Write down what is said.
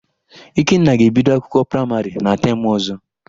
Ikenna ga-ebido akwụkwọ praịmarị na temụ ọ̀zọ́.